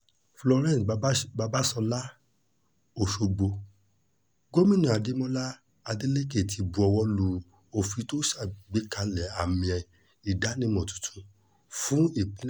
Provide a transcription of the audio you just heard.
florence babàsọ́ babàsọ́lá ọ̀ṣọ́gbó gómìnà adémọlá adeleke ti buọwọ́ lu òfin tó ṣàgbékalẹ̀ àmìẹ ìdánimọ̀ tuntun fún ìpín